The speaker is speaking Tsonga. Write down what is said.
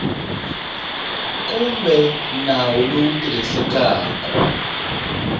kumbe nawu lowu wu tirhisekaku